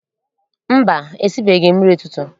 Mba, esibeghị m nri ụtụtụ.